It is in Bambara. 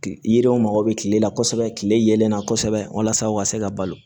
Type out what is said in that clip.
Kile yiriw mago bɛ kile la kosɛbɛ kile yelen na kosɛbɛ walasa u ka se ka balo